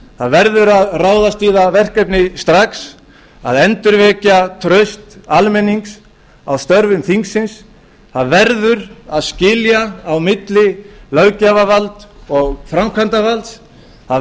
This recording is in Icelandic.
það verður að ráðast í það verkefni strax að endurvekja traust almennings á störfum þingsins það verður að skilja á milli löggjafarvalds og framkvæmdarvalds það